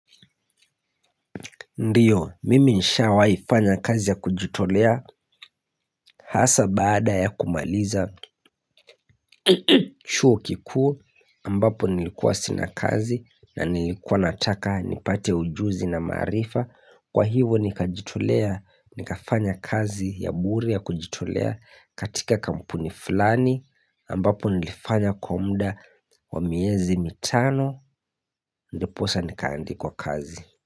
Ndiyo mimi nishawaifanya kazi ya kujitolea hasa baada ya kumaliza chuo kiku ambapo nilikuwa sina kazi na nilikuwa nataka nipate ujuzi na maarifa Kwa hivo nika jitolea nika fanya kazi ya bure ya kujitolea katika kampuni fulani ambapo nilifanya kumda wa miezi mitano Ndiposa nikaandikwa kazi.